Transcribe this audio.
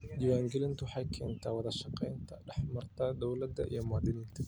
Diiwaangelintu waxay keentaa wada shaqayn dhex marta dawladda iyo muwaadiniinta.